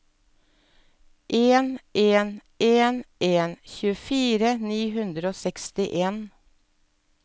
en en en en tjuefire ni hundre og sekstien